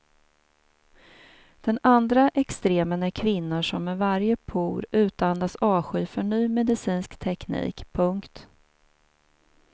Den andra extremen är kvinnor som med varje por utandas avsky för ny medicinsk teknik. punkt